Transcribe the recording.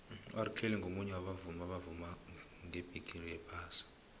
urkelly ngumunye wabavumi abavuma ngebhigixi yephasi